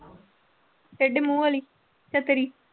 ਟੇਢੇ ਮੂੰਹ ਵਾਲੀ ਚਕਰੀ।